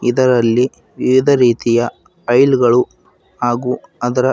ಇದರಲ್ಲಿ ವಿವಿಧ ರೀತಿಯ ಆಯಿಲ್ ಗಳು ಹಾಗು ಅದರ--